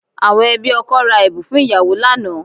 Àwọn ẹbí ọkọ ra ẹ̀bùn fún ìyàwó lánàá